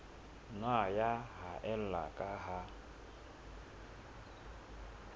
nna ya haella ka ha